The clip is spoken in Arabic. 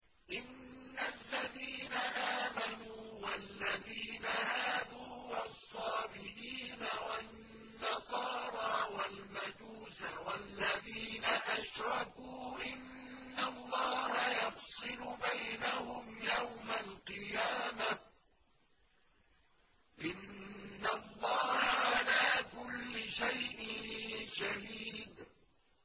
إِنَّ الَّذِينَ آمَنُوا وَالَّذِينَ هَادُوا وَالصَّابِئِينَ وَالنَّصَارَىٰ وَالْمَجُوسَ وَالَّذِينَ أَشْرَكُوا إِنَّ اللَّهَ يَفْصِلُ بَيْنَهُمْ يَوْمَ الْقِيَامَةِ ۚ إِنَّ اللَّهَ عَلَىٰ كُلِّ شَيْءٍ شَهِيدٌ